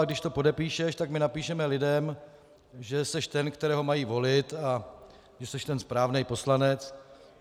A když to podepíšeš, tak my napíšeme lidem, že jsi ten, kterého mají volit, a že jsi ten správný poslanec.